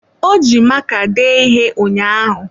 Ọ ji maka dee ihe ụnyaahụ.